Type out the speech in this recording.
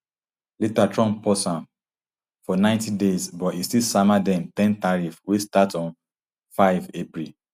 later trump pause am for ninety days but e still sama dem ten tariff wey start on five april